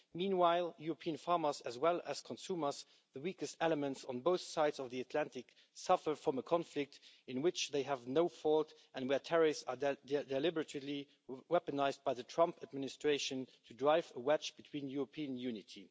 Meanwhile, European farmers as well as consumers the weakest elements on both sides of the Atlantic suffer from a conflict in which they have no fault, and where tariffs are deliberately weaponised by the Trump administration to drive a wedge between European unity.